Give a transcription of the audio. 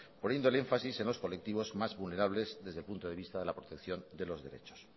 poniéndole énfasis en los colectivos más vulnerables desde el punto de vista de la protección de los derechos